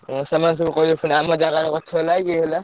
ଉଁ ସେମାନେ ସବୁ କହିବେ ପୁଣି ଆମ ଜାଗାରେ ଗଛ ଲାଗିଚି ଇଏ ହେଲା।